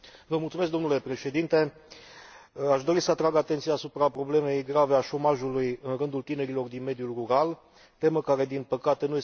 Aș dori să atrag atenția asupra problemei grave a șomajului în rândul tinerilor din mediul rural, temă care, din păcate, nu este reflectată în propunerea de rezoluție.